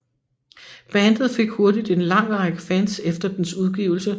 Bandet fik hurtigt en lang række fans efter dens udgivelse